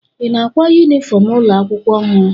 Ị na-ákwá yunifọm ụlọ akwụkwọ ọhụrụ?